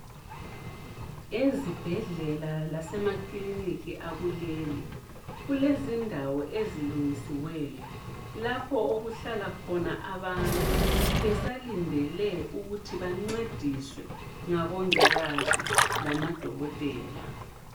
Ezibhedlela lasemakliniki akuleli, kulezindawo ezilungisiweyo, lapho okuhlala khona abantu besalindele ukuthi bancediswe ngabongikazi lamadokotela.